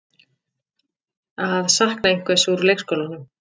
Að sakna einhvers úr leikskólanum